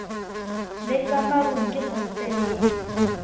le ka marung ke hosteleng